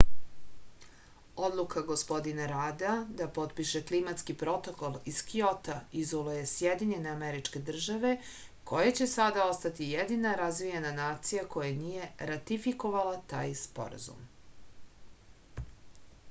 odluka gospodina rada da potpiše klimatski protokol iz kjota izoluje sjedinjene američke države koje će sada ostati jedina razvijena nacija koja nije ratifikovala taj sporazum